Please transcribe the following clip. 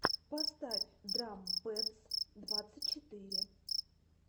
поставь драм пэдс двадцать четыре